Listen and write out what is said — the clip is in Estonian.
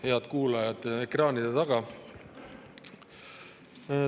Head kuulajad ekraanide taga!